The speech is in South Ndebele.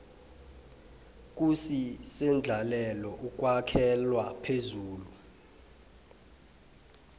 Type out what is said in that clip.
kusisendlalelo ekwakhelwa phezu